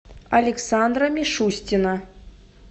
александра мишустина